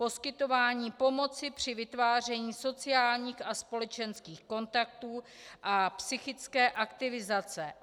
Poskytování pomoci při vytváření sociálních a společenských kontaktů a psychické aktivizace.